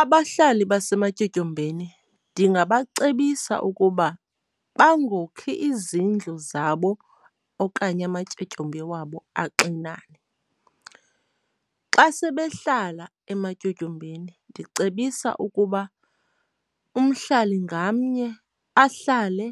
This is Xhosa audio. Abahlali basematyotyombeni ndingabacebisa ukuba bangokhi izindlu zabo okanye amatyotyombe wabo axinane. Xa sebehlala ematyotyombeni ndicebisa ukuba umhlali ngamnye ahlale